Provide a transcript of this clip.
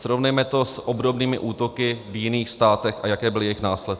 Srovnejme to s obdobnými útoky v jiných státech, a jaké byly jejich následky.